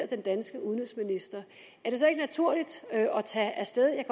den danske udenrigsminister er det så ikke naturligt at tage af sted jeg